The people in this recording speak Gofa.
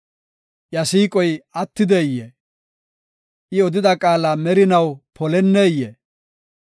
Iya siiqoy attideyee? I odida qaala merinaw poleneyee?